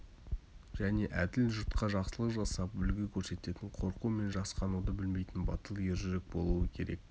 және әділ жұртқа жақсылық жасап үлгі көрсететін қорқу мен жасқануды білмейтін батыл ержүрек болуы керек